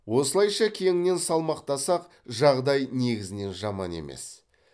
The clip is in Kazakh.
осылайша кеңінен салмақтасақ жағдай негізінен жаман емес